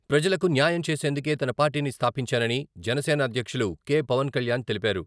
ప్రజలకు న్యాయం చేసేందుకే తాను పార్టీని స్థాపించానని జనసేన అధ్యక్షులు కె.పవన్ కళ్యాణ్ తెలిపారు.